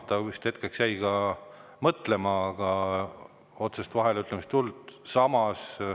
Ta vist jäi ka hetkeks mõtlema, aga otsest vaheleütlemist ei tulnud.